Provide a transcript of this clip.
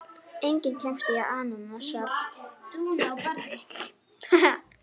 Enginn kemst í annars ham.